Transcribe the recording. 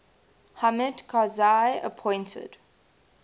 hamid karzai appointed